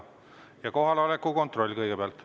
Ja kõigepealt kohaloleku kontroll.